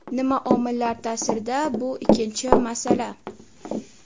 Nima omillar ta’sirida bu ikkinchi masala.